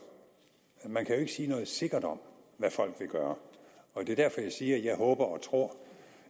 man kan jo ikke sige noget sikkert om hvad folk vil gøre det er derfor at jeg siger at jeg håber og tror